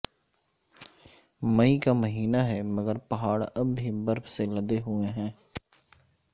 مئی کا مہینہ ہے مگر پہاڑ اب بھی برف سے لدے ہوئے ہیں